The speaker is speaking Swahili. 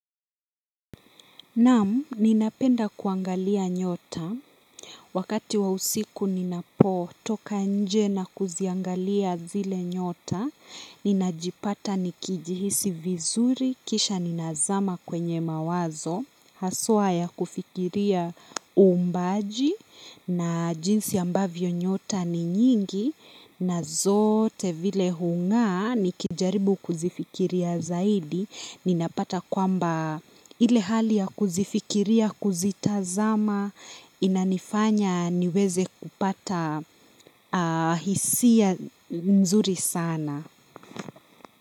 Naam ninapenda kuangalia nyota wakati wa usiku ninapotoka nje na kuziangalia zile nyota ninajipata nikijihisi vizuri kisha ninazama kwenye mawazo haswa ya kufikiria umbaji na jinsi ambavyo nyota ni nyingi na zote vile hungaa nikijaribu kuzifikiria zaidi. Ninapata kwamba ile hali ya kuzifikiria, kuzitazama, inanifanya niweze kupata hisia nzuri sana.